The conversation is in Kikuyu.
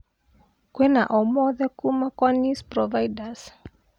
kĩwna omothe kuuma kwa news provides